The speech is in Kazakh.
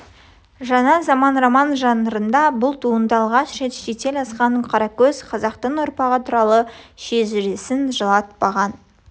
жаңа заман роман жанрында бұл туынды алғаш рет шетел асқан қаракөз қазақтың ұрпағы туралы жесірін жылатпаған